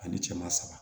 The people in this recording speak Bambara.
Ani cɛman saba